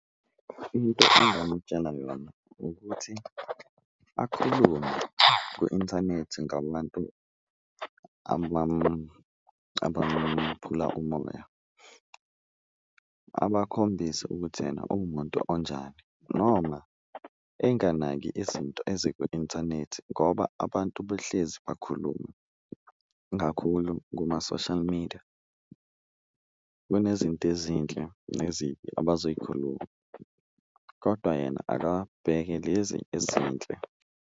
Into engamutshela yona ukuthi akhulume kwi-inthanethi ngabantu abamphula umoya, abakhombise ukuthi yena uwumuntu onjani noma enganaki izinto eziku-inthanethi ngoba abantu behlezi bakhuluma. Kakhulu kuma-social media kunezinto ezinhle nezibi abazoyikhuluma kodwa yena akabheke lezi ezinhle.